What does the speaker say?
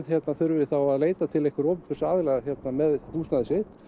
þurfi þá að leita til einhvers opinbers aðila með húsnæðið sitt